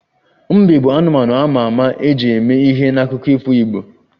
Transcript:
Mbe bụ anụmanụ a ma ama e ji mee ihe n'akụkọ ifo igbo